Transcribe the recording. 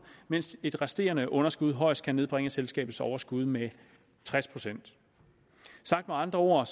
mens et resterende underskud højst kan nedbringe selskabets overskud med tres procent sagt med andre ord